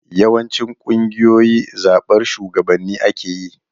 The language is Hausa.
Yawancin ƙungiyoyi da zaɓar shugabanni ake yi.